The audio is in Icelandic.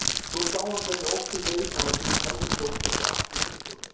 Svo sá hann hvernig óttinn greip hana sínum heljarklóm eins og alla sökudólga.